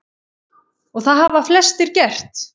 Og það hafa flestir gert.